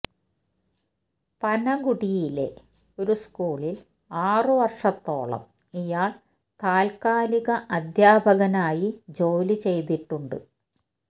പനഗുഡിയിലെ ഒരു സ്കൂളില് ആറ് വര്ഷത്തോളം ഇയാള് താല്ക്കാലിക അധ്യാപകനായി ജോലി ചെയ്തിട്ടുണ്ട്